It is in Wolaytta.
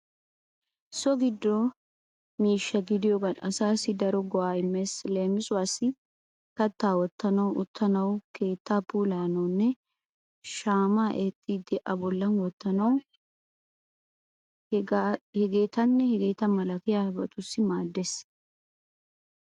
So giddo miishsha gidiyogan asaassi daro go'aa immees. Leemisuwaassi kattaa wottanawu, uttanawu, keettaa puulayanawunne shaamaa eettidi a bolla wottanawu hegeetanne hegeeta malatiyaabatussi maaddees.